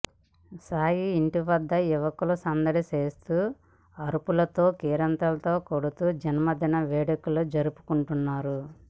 సాయి ఇంటి వద్ద యువకులు సందడి చేస్తూ అరుపులతో కేరింతలు కొడుతూ జన్మదిన వేడుకలు జరుపుకుంటున్నారు